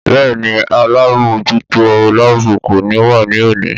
Bẹ́ẹ̀ni alábòójútó láàbù kò ní wá ní òní